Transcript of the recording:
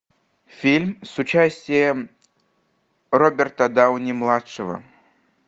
фильм с участием роберта дауни младшего